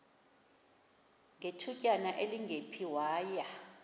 ngethutyana elingephi waya